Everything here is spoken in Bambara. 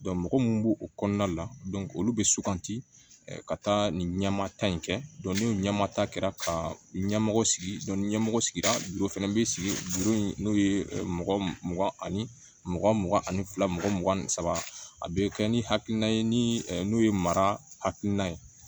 mɔgɔ mun b'o kɔnɔna la olu bɛ suganti ka taa nin ɲɛmata in kɛ ni ɲɛma ta kɛra ka ɲɛmɔgɔ sigi ni ɲɛmɔgɔ sigira fana bɛ sigi n'o ye mɔgɔ mugan ani mugan mugan ani fila mɔgɔ mugan ni saba a bɛ kɛ ni hakilina ye ni ye mara hakilina ye